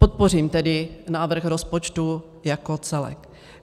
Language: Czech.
Podpořím tedy návrh rozpočtu jako celek.